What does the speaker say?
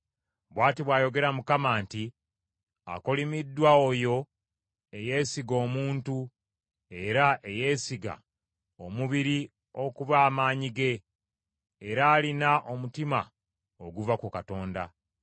Bw’ati bw’ayogera Mukama nti, Akolimiddwa oyo eyeesiga omuntu era eyeesiga omubiri okuba amaanyi ge, era alina omutima oguva ku Katonda.